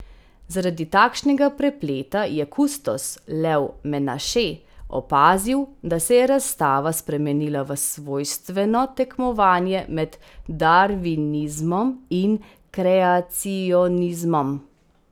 Zaradi takšnega prepleta je kustos Lev Menaše opazil, da se je razstava spremenila v svojstveno tekmovanje med darvinizmom in kreacionizmom.